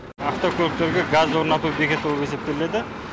автокөліктерге газ орнату бекеті боп есептелінеді